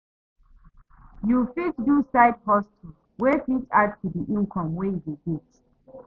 You fit do side hustle wey fit add to di income wey you dey get